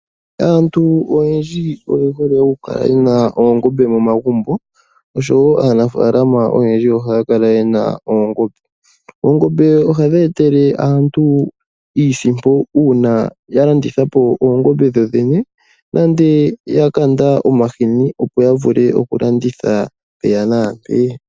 Aantu oyendji oye hole okukala yena oongombe momagumbo nosho woo aanafaalama oyendji ohaya kala yena oongombe. Ohadhi etele aantu iisimpo ngele dha landithwapo nenge ngele omahini gadho ga landithwa po.